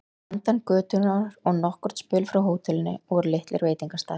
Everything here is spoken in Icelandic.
Handan götunnar og nokkurn spöl frá hótelinu voru litlir veitingastaðir.